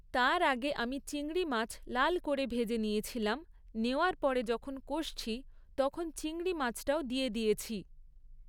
তার আগে আমি চিংড়ি মাছ লাল করে ভেজে নিয়েছিলাম, নেওয়ার পরে যখন কষছি, তখন চিংড়ি মাছটাও দিয়ে দিয়েছি।